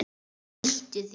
Flýttu þér.